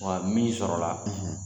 Wa min sɔrɔla